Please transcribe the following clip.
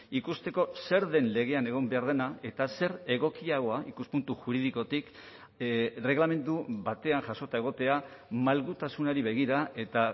ikusteko zer den legean egon behar dena eta zer egokiagoa ikuspuntu juridikotik erreglamendu batean jasota egotea malgutasunari begira eta